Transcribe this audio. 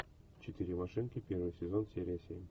четыре машинки первый сезон серия семь